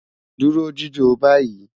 Duro jijo bayi